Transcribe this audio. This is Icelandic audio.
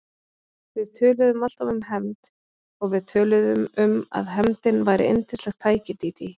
Við töluðum alltaf um hefnd og við töluðum um að hefndin væri yndislegt tæki, Dídí.